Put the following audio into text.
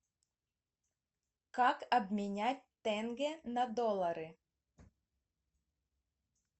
как обменять тенге на доллары